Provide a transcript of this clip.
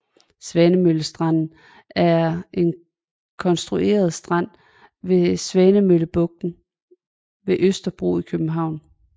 Svanemøllestranden er en konstrueret strand ved Svanemøllebugten ved Østerbro i København